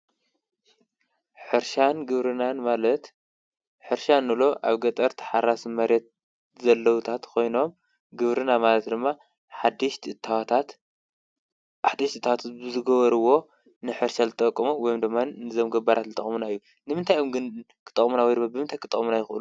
ሕርሻን ግብርናን ማለት ሕርሻ ንብሎ ኣብ ገጠር ተሓራስ መሬት ዘለዉታት ኾይኖም ግብርና ማለት ድማ ሓድሽ እታወታት ብዝገበርዎ ንሕርሻ ዝጠቕሙ ወይ ድማ ንዞም ገባራት ዝጠቕሙና እዩ፡፡ ንምንታይ እዮም ግን ዝጠቕሙና ወይ ድማ ብምንታይ ክጠቕሙና ይኽእሉ?